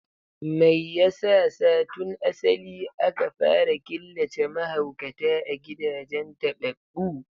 Me yasa sa tun asali aka fara killace mahaukata a gidajen tababbu?